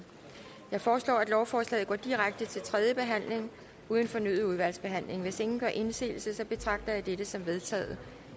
jeg foreslår at lovforslaget går direkte til tredje behandling uden fornyet udvalgsbehandling hvis ingen gør indsigelse betragter jeg dette som vedtaget